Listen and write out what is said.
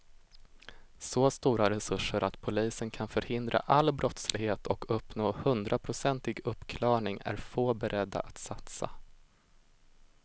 Så stora resurser att polisen kan förhindra all brottslighet och uppnå hundraprocentig uppklarning är få beredda att satsa.